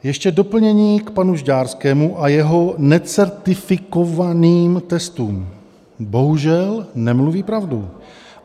Ještě doplnění k panu Žďárskému a jeho necertifikovaným testům: bohužel nemluví pravdu.